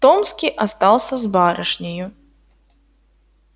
томский остался с барышнею